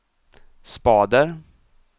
spader